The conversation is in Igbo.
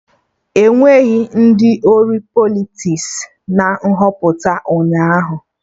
Enweghị ndị ori Politiks na Nhọpụta ụnyaahụ